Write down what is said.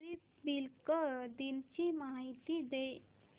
Republic दिन ची माहिती दे